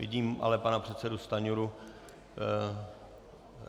Vidím ale pana předsedu Stanjuru.